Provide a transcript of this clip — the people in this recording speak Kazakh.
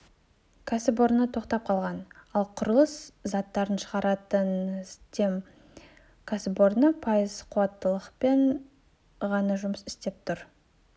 кәсіпорны тоқтап қалған ал құрылыс заттарын шығаратын с-дем кәсіпорны пайыз қуаттылықпен ғана жұмыс істеп тұр